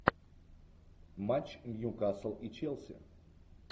матч нью касл и челси